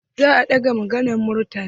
Za a ɗaga maganan Murtala.